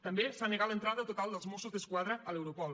també s’ha negat l’entrada total dels mossos d’esquadra a l’europol